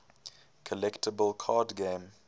collectible card game